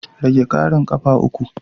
Rage ƙarin ƙafa uku.